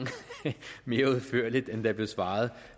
mere udførligt end der blev svaret